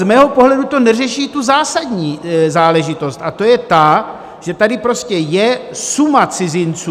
Z mého pohledu to neřeší tu zásadní záležitost, a to je ta, že tady prostě je suma cizinců.